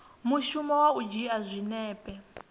mushumo wa u dzhia zwinepe